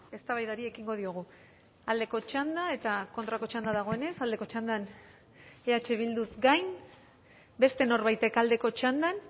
eztabaidari ekingo diogu aldeko txanda eta kontrako txanda dagoenez aldeko txandan eh bilduz gain beste norbaitek aldeko txandan